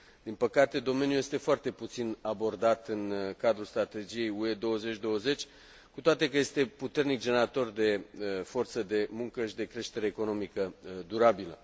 Din păcate, domeniul este foarte puțin abordat în cadrul strategiei UE 2020, cu toate că este puternic generator de forță de muncă și de creștere economică durabilă.